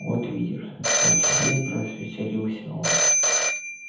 вот видишь совсем развеселился он